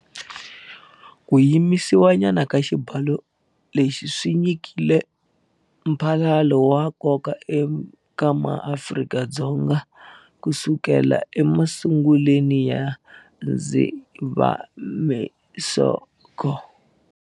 Ku yimisiwanyana ka xibalo lexi swi nyikile mphalalo wa nkoka eka MaAfrika-Dzonga kusukela emasunguleni ya Dzivamisoko.